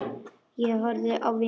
Ég horfði á vini mína.